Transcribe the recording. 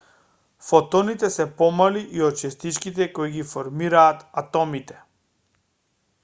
фотоните се помали и од честичките кои ги формираат атомите